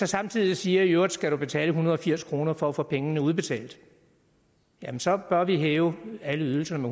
samtidig siger at i øvrigt skal du betale en hundrede og firs kroner for at få pengene udbetalt jamen så bør vi hæve alle ydelserne